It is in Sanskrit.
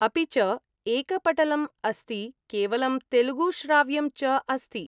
अपि च एकपटलम् अस्ति, केवलं तेलुगुश्राव्यं च अस्ति।